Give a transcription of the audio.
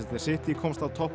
City komst á toppinn